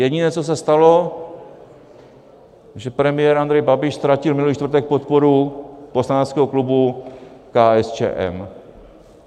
Jediné, co se stalo, že premiér Andrej Babiš ztratil minulý čtvrtek podporu poslaneckého klubu KSČM.